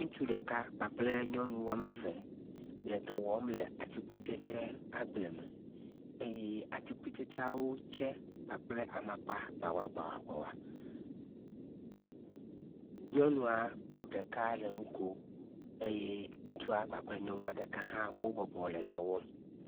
Ŋutsu ɖeka kpakple nyɔnuwo woame eve le dɔ wɔm le atikutsetse agble me eye atikutsetseawo tse kpakple amakpa gbagbagba. Nyɔnua ɖeka le nu kom eye ŋutsu kpakple nyɔnua ɖeka hã wo bɔbɔ le dɔ wɔm ŋutsu.